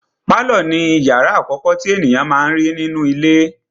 Pálọ̀ ni ìyàrá àkọ́kọ́ tí ènìyàn má n rí nínú ilé.